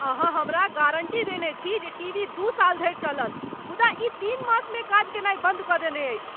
अहाँ हमरा गारण्टी देने छी जे टीवी दू साल धरि चलत मुदा ई तीन मासमे काज कयनाय बन्द कऽ देने अछि!